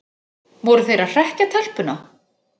Voru þeir að hrekkja telpuna?